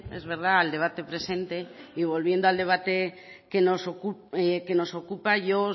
es verdad al debate presente y volviendo al debate que nos ocupa yo